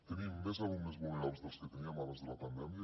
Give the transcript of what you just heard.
tenim més alumnes vulnerables dels que teníem abans de la pandèmia